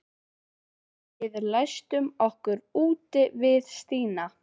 Við læstum okkur úti við Stína.